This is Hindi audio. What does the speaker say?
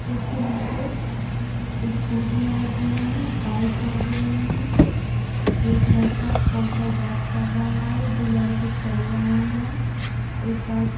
उसके नीचे स्कूटियां रखी हुई है बाइक रखी हुई है। एक लड़का कॉल पे बात कर रहा है दो लड़के चल रहे हैं। एक व्हाइट --